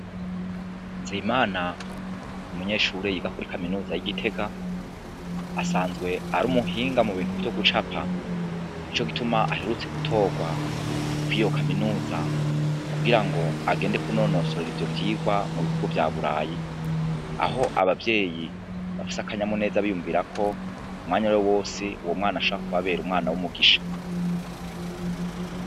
Nzeyimana n'umunyeshure yiga kuri kaminuza y'i Gitega asanzwe ari umuhinga mu bintu vyo gucapa, nico gituma aherutse gutorwa kw'iyo kaminuza kugira ngo agende kunonosorera ivyo vyigwa mu bihugu vya burayi, aho abavyeyi bafise akanyamuneza biyumvira ko umwanya uwari wo wose uwo mwana ashobora kubabera umwana w'umugisha.